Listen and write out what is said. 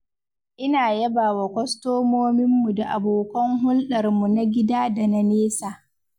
Ina yabawa kwastomominmu da abokan hulɗarmu na gida da na nesa.